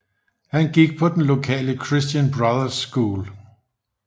Han gik på den lokale Christian Brothers School